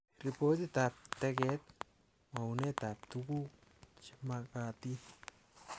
Repotiab teket| mwounetab tuguk chemagatin